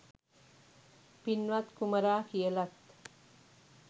පින්වත් කුමරා කියලත්.